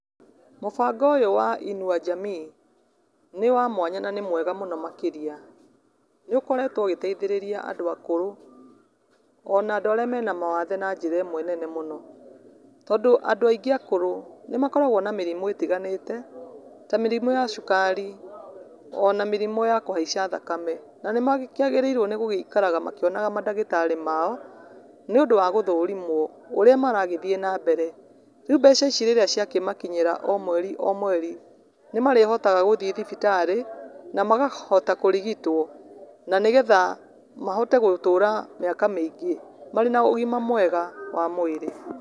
Mũbango ũyũ wa inua jamii nĩ wa mwanya na nĩmwega mũno makĩria, nĩũkoretwo ũgĩteithĩrĩria andũ akũrũ ona andũ arĩa mena mawathe na njĩra imwe nene mũno. Tondũ andũ aingĩ akũrũ nĩmakoragwo na mĩrimũ ĩtiganĩte ta mĩrimũ ya cukari ona mĩrimũ ya kũhaica thakame na nĩmakĩagĩrĩrwo nĩgũgĩikaraga makĩonaga mandagĩtarĩ mao nĩ ũndũ wa gũthũrimwo ũrĩa maragĩthiĩ na mbere. Rĩu mbeca ici rĩrĩa cia kĩmakinyĩra o mweri o mweri nĩ marĩhotaga gũthiĩ thibitarĩ na makahota kũrigitwo na nĩgetha mahote gũtũra miaka mĩingĩ marĩ na ũgima mwega wa mwĩrĩ.